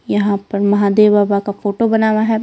यहां पर महादेव बाबा का फोटो बना हुआ है।